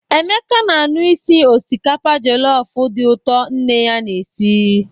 Emeka na-anụ isi osikapa jọlọfụ dị ụtọ nne ya na-esi.